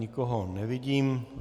Nikoho nevidím.